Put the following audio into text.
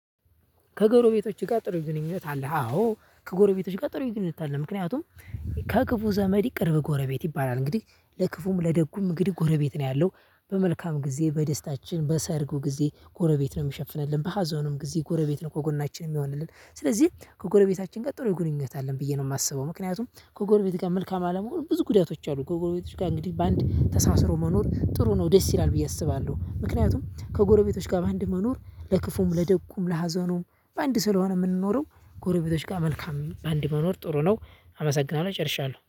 ከጎረቤቶች ጋር ጥሩ ግንኙነት አለህ አዎ ከጎረቤቶች ጋር ጥሩ ግንኙነት አለ። ምክንያቱም ከክፉ ዘመድ ቅርብ ጎረቤት ይባላል። እንግዲህ ለክፉም ለደጉም እንግዲህ ጎረቤት ነው ያለው። በመልካም ጊዜ በደስታችን በሰርጉ ጊዜ ጎረቤት ነው ሚሸፍንልን በሀዘኑም ጊዜ ጎረቤት ነው ከጎናችን ሚሆንልን። ስለዚህ ከጎረቤታችን ጋር ጥሩ ግንኙነት አለን ብዬ ነው ማስበው። ምክንያቱም ከጎረቤት ጋር መልካም አለመሆን ብዙ ጉዳቶች አሉ። ከጎረቤቶች ጋር እንግዲህ በአንድ ተሳስሮ መኖር ጥሩ ነው ደስ ይላል ብዬ አስባለሁ። ምክንያቱም ከጎረቤቶች ጋር በአንድ መኖር ለክፉም ለደጉም ለሀዘኑም በአንድ ስለሆነ ምንኖረው ጎረቤቶች ጋር መልካም በአንድ መኖር ጥሩ ነው። አመሰግናለሁ ጨርሻለሁ